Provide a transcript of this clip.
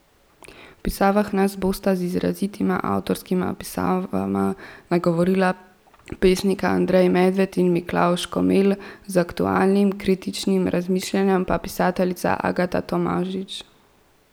V Pisavah nas bosta z izrazitima avtorskima pisavama nagovorila pesnika Andrej Medved in Miklavž Komelj, z aktualnim, kritičnim razmišljanjem pa pisateljica Agata Tomažič.